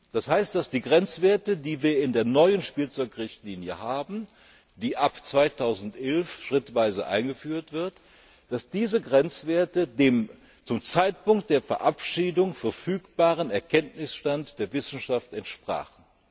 Das heißt, dass die Grenzwerte, die wir in der neuen Spielzeugrichtlinie haben, die ab 2011 schrittweise eingeführt wird, dem zum Zeitpunkt der Verabschiedung verfügbaren Erkenntnisstand der Wissenschaft entsprachen.